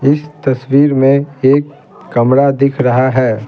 इस तस्वीर में एक कमरा दिख रहा है।